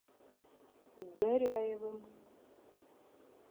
горяевым